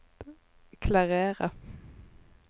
klarere